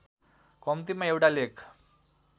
कम्तीमा एउटा लेख